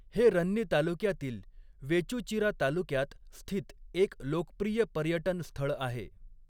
हे रन्नी तालुक्यातील वेचूचिरा तालुक्यात स्थित एक लोकप्रिय पर्यटन स्थळ आहे.